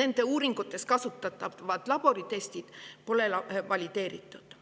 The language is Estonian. nende uuringutes kasutatavad laboritestid pole valideeritud.